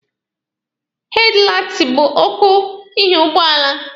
Hedlaiti bụ ọkụ ihu ụgbọala.